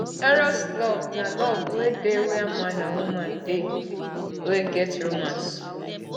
eros love na love wey dey where man and woman dey wey get romance